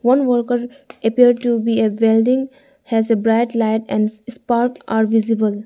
one worker appear to be a welding has a bright light and spark are visible.